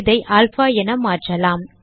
இதை அல்பா என மாற்றலாம்